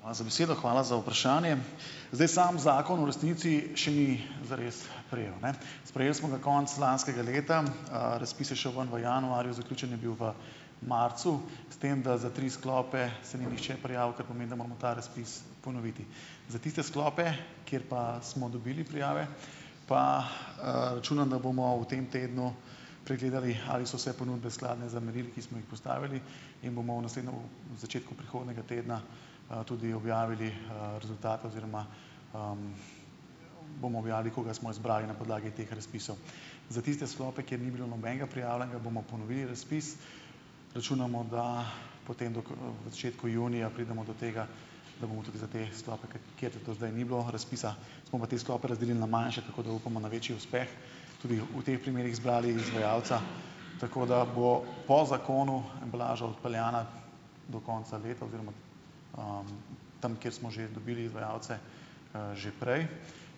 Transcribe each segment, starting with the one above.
Hvala z besedo. Hvala za vprašanje. Zdaj, sam zakon v resnici še ni zares sprejel, ne. Sprejeli smo ga konec lanskega leta. Razpis je šel ven v januarju. Zaključen je bil v marcu, s tem da za tri sklope se ni nihče prijavil, kar pomeni, da moramo ta razpis ponoviti. Za tiste sklope, kjer pa smo dobili prijave, pa, računam, da bomo v tem tednu pregledali, ali so vse ponudbe skladne z merili, ki smo jih postavili in bomo v začetku prihodnega tedna, tudi objavili, rezultate oziroma, bomo objavili, koga smo izbrali na podlagi teh razpisov. Za tiste sklope, kjer ni bilo nobenega prijavljenega, bomo ponovili razpis. Računamo, da potem do da v začetku junija pridemo do tega, da bomo tudi za te sklope, kjer do zdaj ni bilo razpisa, smo pa te sklope razdelili na manjše, tako da upamo na večji uspeh, tudi v teh primerih zbrali izvajalca, tako da bo po zakonu embalaža odpeljana do konca leta oziroma, tam, kjer smo že dobili izvajalce, že prej.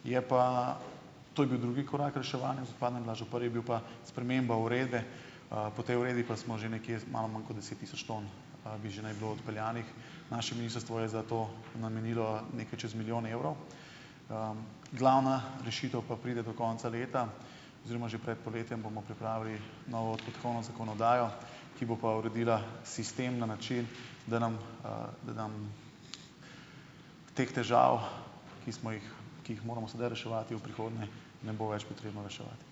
Je pa. To je bil drugi korak reševanja z odpadno embalažo. Prvi je bil pa sprememba uredbe. Po tej uredbi pa smo že nekje malo manj kot deset tisoč ton, bi že ni bilo odpeljanih. Naše ministrstvo je za to namenilo nekaj čez milijon evrov. Glavna rešitev pa pride do konca leta oziroma že pred poletjem bomo pripravili novo dohodkovno zakonodajo, ki bo pa uredila sistem na način, da nam, da nam teh težav, ki smo jih ki jih moramo sedaj reševati, v prihodnje ne bo več potrebno reševati.